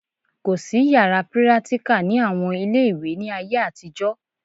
Kò sí yàrá pírátíkà ní àwọn ilé ìwé ní ayé àtijọ́